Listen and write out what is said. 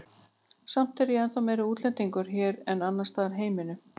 Samt er ég ennþá meiri útlendingur hér en annars staðar í heiminum.